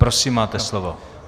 Prosím, máte slovo.